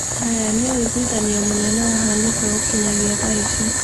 Haya ni ũigithanio mũnene wabanĩka gũkinyagia thaa ici